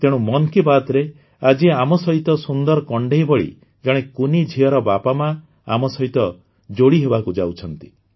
ତେଣୁ ମନ୍ କି ବାତ୍ରେ ଆଜି ଆମ ସହିତ ସୁନ୍ଦର କଣ୍ଢେଈ ଭଳି ଜଣେ କୁନି ଝିଅର ବାପାମାଆ ଆମ ସହିତ ଯୋଡ଼ି ହେବାକୁ ଯାଉଛନ୍ତି